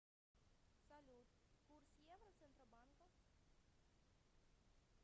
салют курс евро центробанка